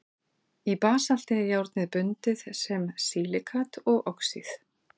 í basalti er járnið bundið sem silíkat og oxíð